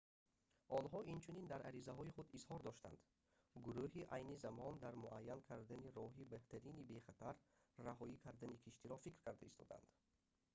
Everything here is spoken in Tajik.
онҳо инчунин дар аризаи худ изҳор доштанд гуруҳ айни замон дар муайян кардани роҳи беҳтарини бехатар раҳоӣ кардани киштиро фикр карда истодаанд